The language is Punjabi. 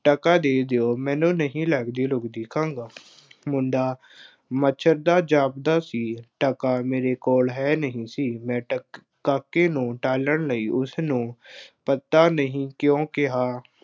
ਟਕਾ ਦੇ ਦਿਓ, ਮੈਨੂੰ ਨਹੀਂ ਲੱਗਦੀ ਲੁੱਗਦੀ, ਕਹਿੰਦਾ ਮੁੰਡਾ ਮਚਰਦਾ ਜਾਪਦਾ ਸੀ, ਟਕਾ ਮੇਰੇ ਕੋਲ ਹੈ ਨਹੀਂ ਸੀ। ਮੈਂ ਟਕ ਕਾਕੇ ਨੂੰ ਟਾਲਣ ਲਈ ਉਸਨੂੰ ਪਤਾ ਨਹੀਂ ਕਿਉਂ ਕਿਹਾ,